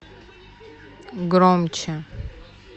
громче